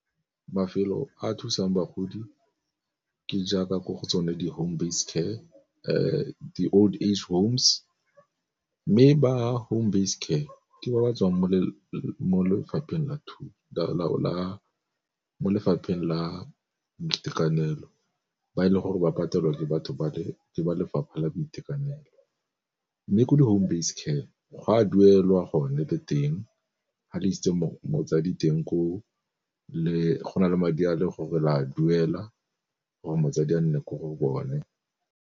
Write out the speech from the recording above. Mafelo a thusang bagodi ke jaaka ko go tsone di home base care, di old age homes. Mme ba home base care ke ba batswang mo lefapheng la boitekanelo, ba e leng gore ba patelwa ke ba lefapha la boitekanelo. Mme ko di-home base care go a duelwa go ne le teng, ga le itse motsadi teng ko go na le madi a le gore la duela gore motsadi a nne ko go bone.